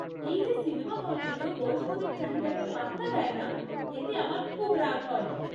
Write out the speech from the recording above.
এই যে সিনেমা হলগুলো বয়স্কদের চাহিদাকে পাত্তা দেয় না এতে আমার খুব রাগ হয়।